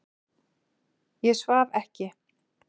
Ég svaf ekki.